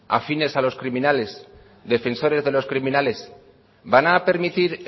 afines a los criminales defensores de los criminales van a permitir